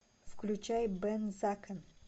включай бен закен